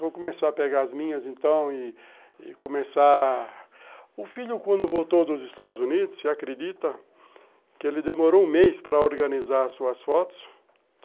Vou começar a pegar as minhas, então, e começar... O filho, quando voltou dos Estados Unidos, acredita que ele demorou um mês para organizar suas fotos.